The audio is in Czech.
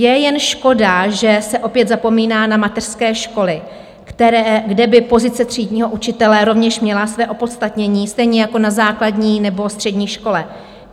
Je jen škoda, že se opět zapomíná na mateřské školy, kde by pozice třídního učitele rovněž měla své opodstatnění, stejně jako na základní nebo střední škole.